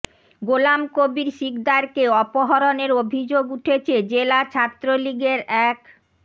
গোলাম কবির সিকদারকে অপহরণের অভিযোগ উঠেছে জেলা ছাত্রলীগের এক